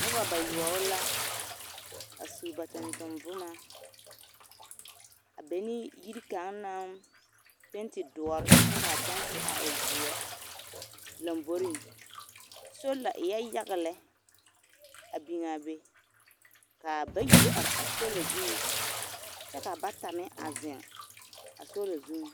Noba bayoɔbo la a su ba tontoŋ boma a be ne yiri kaŋ naŋ penti doɔre kyɛ ka a kyɛnse a e zeɛ lomboriŋ, sola eɛ yaga lɛ a biŋaa be k'a bayi do are a sola zuŋ kyɛ ka bata meŋ a zeŋ a sola zuŋ.